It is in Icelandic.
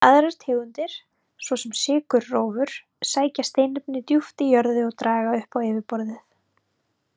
Aðrar tegundir, svo sem sykurrófur, sækja steinefni djúpt í jörðu og draga upp á yfirborðið.